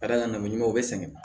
Ka d'a kan n'o ɲuman ye u bɛ sɛgɛn